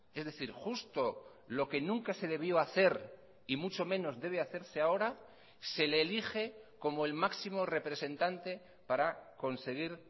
es decir justo lo que nunca se debió hacer y mucho menos debe hacerse ahora se le elige como el máximo representante para conseguir